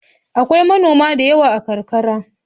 Akwai manoma da yawa a karkarata.